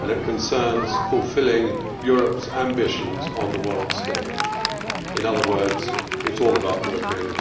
and it concerns fulfilling Europe's ambitions on the world stage'. In other words, it is all about European integration.